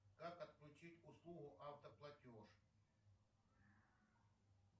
как отключить услугу автоплатеж